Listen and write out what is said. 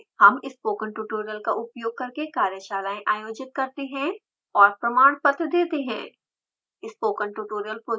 हम spoken tutorials का उपोग करके कार्यशालाएं आयोजित करते हैं और प्रमाणपत्र देते हैं